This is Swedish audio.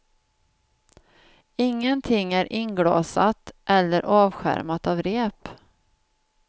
Ingenting är inglasat eller avskärmat av rep.